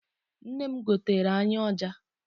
Nna m goteere anyị ọja.